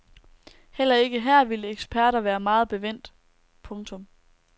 Heller ikke her ville eksperter være meget bevendt. punktum